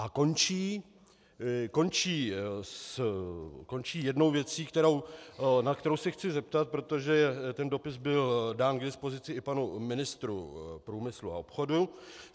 A končí jednou věcí, na kterou se chci zeptat, protože ten dopis byl dán k dispozici i panu ministru průmyslu a obchodu.